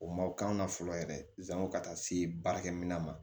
O ma o k'an na fɔlɔ yɛrɛ zanko ka taa se baarakɛminɛn ma